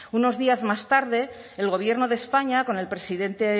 unos días más tarde el gobierno de españa con el presidente